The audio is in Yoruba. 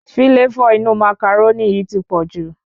Fíláfò inú màcàrónì yìí ti pọ̀jù